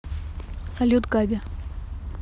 салют габи